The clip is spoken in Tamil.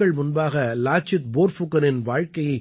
சில நாட்கள் முன்பாக லாசித் போர்ஃபுகனின் வாழ்க்கையை